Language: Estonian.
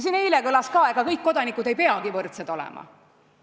Siin eile kõlas, et ega kõik kodanikud ei peagi võrdsed olema.